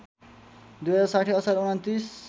२०६० असार २९